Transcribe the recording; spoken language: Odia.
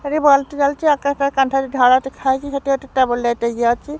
ଏଇଟି ବଲ ଟେ ଜଳୁଚି ଆକାଶ କାନ୍ଥରେ ଧଳା ଦେଖା ଯାଉଚି ଇଏଟେ ଅଛି।